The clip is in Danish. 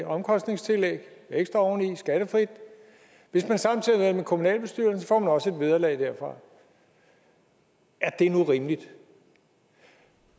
omkostningstillæg ekstra oveni skattefrit hvis man samtidig sidder i en kommunalbestyrelse får man også et vederlag derfra er det nu rimeligt